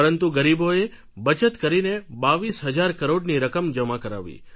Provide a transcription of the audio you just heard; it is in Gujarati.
પરંતુ ગરીબોએ બચત કરીને બાવીસ હજાર કરોડની રકમ જમા કરાવી